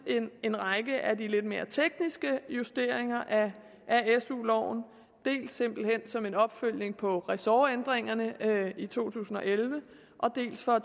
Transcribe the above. en række af de lidt mere tekniske justeringer af su loven dels simpelt hen som en opfølgning på resortændringerne i to tusind og elleve dels for